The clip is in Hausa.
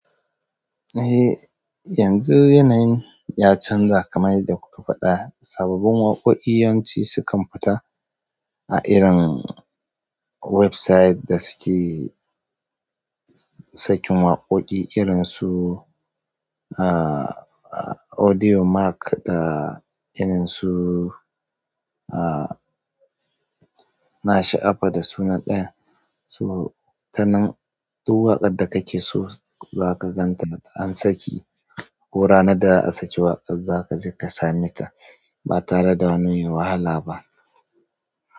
Eh, yanzu yanayin ya canja kamar yadda kuka faɗa sababbin waƙoƙi yawanci sukan fita a irin website da suke sakin waƙoƙi irin su ahh audio mark da irin su ahh nasha'afa da sunan ɗayan. To tanan duk waƙar da kake so zaka ganta an saki, ko ranar da'a sake waƙar za ka je ka same ta, ba tare da wani wahala ba.